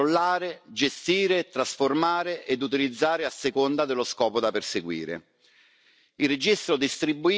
e di cosa significhi poterla controllare, gestire, trasformare ed utilizzare a seconda dello scopo da perseguire.